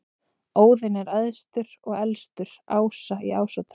Óðinn er æðstur og elstur ása í Ásatrú.